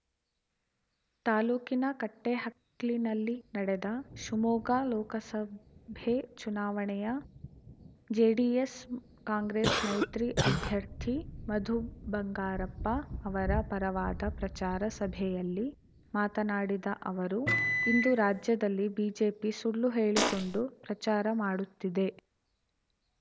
ತಾಲೂಕಿನ ಕಟ್ಟೆಹಕ್ಲಿನಲ್ಲಿ ನಡೆದ ಶಿವಮೊಗ್ಗ ಲೋಕಸಭೆ ಉಪಚುನಾವಣೆಯ ಜೆಡಿಎಸ್‌ ಕಾಂಗ್ರೆಸ್‌ ಮೈತ್ರಿ ಅಭ್ಯರ್ಥಿ ಮಧು ಬಂಗಾರಪ್ಪ ಅವರ ಪರವಾದ ಪ್ರಚಾರ ಸಭೆಯಲ್ಲಿ ಮಾತನಾಡಿದ ಅವರು ಇಂದು ರಾಜ್ಯದಲ್ಲಿ ಬಿಜೆಪಿ ಸುಳ್ಳು ಹೇಳಿಕೊಂಡು ಪ್ರಚಾರ ಮಾಡುತ್ತಿದೆ